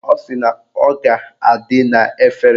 Ọ sị na ọ ga-adị n'efere